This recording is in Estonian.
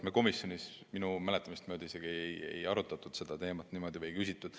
Me komisjonis minu mäletamist mööda isegi ei arutanud seda teemat niimoodi, selle kohta ei küsitud.